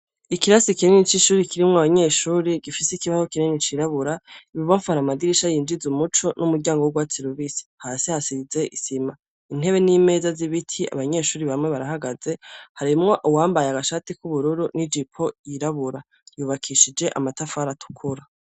Ikirasi kinini c'ishure kirimwo abanyeshure, gifise ikibaho kinini c'irabubura, ibubamfu har'amadirisha yinjiza' umuco n'umuryango w'urwatsi rubisi. Hasi hasize isima. Intebe n'imeza zibiti, abanyeshure bamwe barahaze harimwo uwambaye agashati k'ubururu n'ijipo y'irabura vyubakishije amatafari atukura.